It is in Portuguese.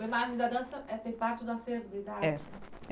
O Imagens da Dança é tem parte do acervo do Idarte? É